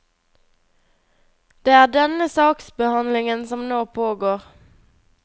Det er denne saksbehandlingen som nå pågår.